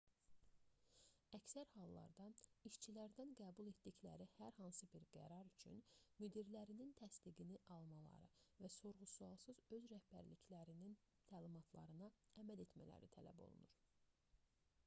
əksər hallarda işçilərdən qəbul etdikləri hər hansı bir qərar üçün müdirlərinin təsdiqini almaları və sorğu-sualsız öz rəhbərliklərinin təlimatlarına əməl etmələri tələb olunur